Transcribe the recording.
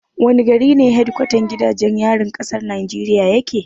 Wani gari ne hedkwatan gidajen yarin kasar Najeriya yake?